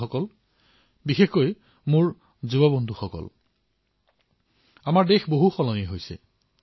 বন্ধুসকল বিশেষকৈ মোৰ যুৱ বন্ধুসকল আমাৰ দেশ পৰিৱৰ্তিত হবলৈ ধৰিছে